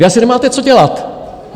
Vy asi nemáte co dělat!